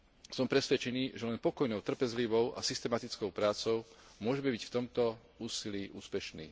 Som presvedčený, že len pokojnou, trpezlivou a systematickou prácou môžeme byť v tomto úsilí úspešní.